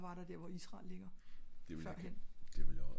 hvad var der hvor israel ligger før hen